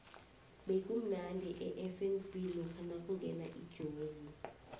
bekumnandi efnb lokha nakungena ijozi